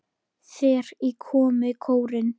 Þeir komu í kórinn.